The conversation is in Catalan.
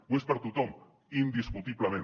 ho és per a tothom indiscutiblement